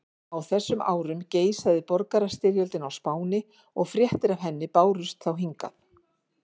Á þessum árum geisaði borgarastyrjöldin á Spáni og fréttir af henni bárust þá hingað.